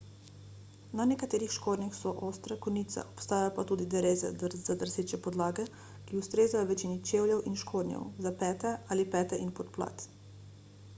na nekaterih škornjih so ostre konice obstajajo pa tudi dereze za drseče podlage ki ustrezajo večini čevljev in škornjev za pete ali pete in podplat